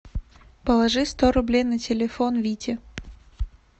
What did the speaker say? положи сто рублей на телефон вите